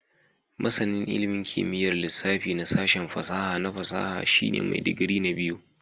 Masanin ilimin kimiyyar lissafi na sashen fasaha na fasaha shine mai digiri na biyu